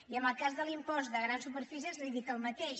i en el cas de l’impost de grans superfícies li dic el mateix